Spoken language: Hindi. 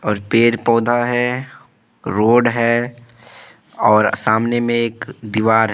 और पेड़ पौधा है रोड़ है और सामने में एक दीवार है।